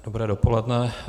Dobré dopoledne.